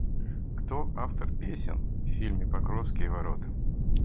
кто автор песен в фильме покровские ворота